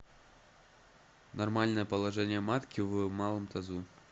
нормальное положение матки в малом тазу